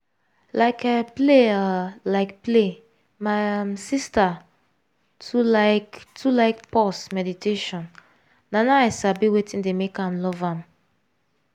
like um play um like play my um sister too like too like pause meditation na now i sabi wetin dey make am love am.